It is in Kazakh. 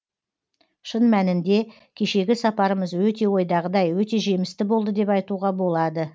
шын мәнінде кешегі сапарымыз өте ойдағыдай өте жемісті болды деп айтуға болады